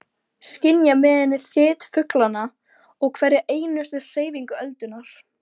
Ég forðaðist hann, en reyndi alltaf að sýna honum kurteisi.